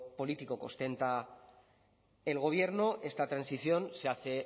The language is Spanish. político que ostenta el gobierno esta transición se hace